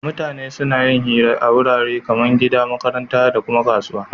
Mutane suna yin hira a warare kaman gida, makaranta dakuma kasuwa